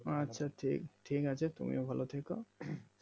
আচ্ছা ঠিক আছে তুমিও ভালো থেকো উম